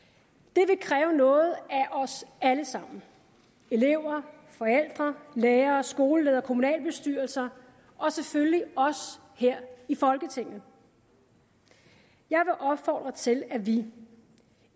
det vil kræve noget af os alle sammen elever forældre lærere skoleledere kommunalbestyrelser og selvfølgelig os her i folketinget jeg vil opfordre til at vi